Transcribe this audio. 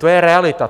To je realita.